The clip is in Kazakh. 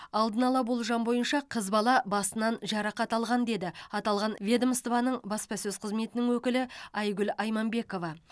алдын ала болжам бойынша қыз бала басынан жарақат алған деді аталған ведомствоның баспасөз қызметінің өкілі айгүл айманбекова